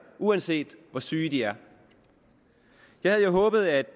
uanset hvor syge de er jeg havde jo håbet at